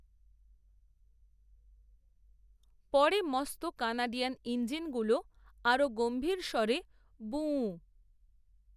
পরে মস্ত কানাডিয়ান, ইঞ্জিনগুলো, আরও গম্ভীর স্বরে, বুঁ, উ, উ